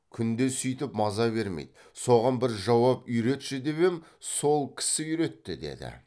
күнде сүйтіп маза бермейді соған бір жауап үйретші деп ем сол кісі үйретті деді